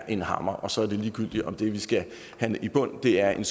en hammer og så er det ligegyldigt om det vi skal have i bund er en